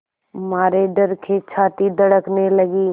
मारे डर के छाती धड़कने लगी